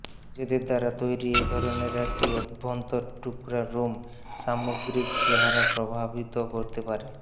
নিজের দ্বারা তৈরি এই ধরনের একটি অভ্যন্তর টুকরা রুম সামগ্রিক চেহারা প্রভাবিত করতে পারে